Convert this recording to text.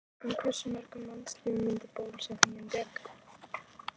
En hversu mörgum mannslífum myndi bólusetningin bjarga?